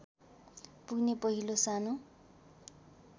पुग्ने पहिलो सानो